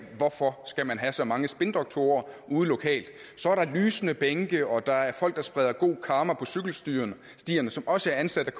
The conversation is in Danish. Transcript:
hvorfor skal man have så mange spindoktorer ude lokalt så er der lysende bænke og der er folk der spreder god karma på cykelstierne som også er ansat